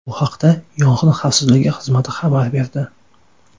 Bu haqda Yong‘in xavfsizligi xizmati xabar berdi .